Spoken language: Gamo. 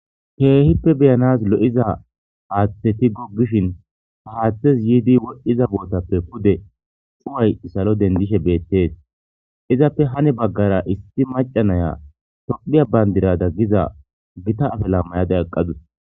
Kehippe be'anes lo'iza haththeti gogishin haa haththezi yidi wodhdhiz botappe pude cuwayi salo denidishshe betees.izappe hani bagara issi macanayi tophphiya banidira Giza Gita afala mayada eqadus.